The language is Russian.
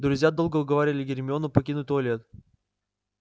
друзья долго уговаривали гермиону покинуть туалет